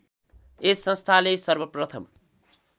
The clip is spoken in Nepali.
यस संस्थाले सर्वप्रथम